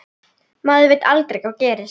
Maður veit aldrei hvað gerist.